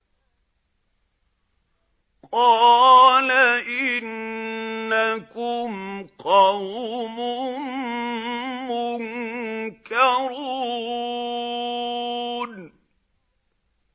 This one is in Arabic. قَالَ إِنَّكُمْ قَوْمٌ مُّنكَرُونَ